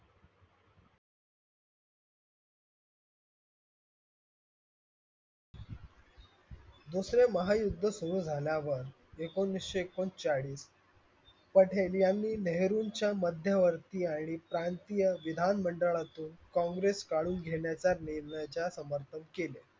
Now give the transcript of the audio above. दुसरे महायुद्ध सुरु झाल्यावर एकोणवीसशे एकोणचाळीस पटेल यांनी नेहरूंच्या मध्यवर्ती आणि प्रांतीय विधान मंडळातून कांग्रेस काढून घेण्याच्या निर्णयाचे समपर्ण केले.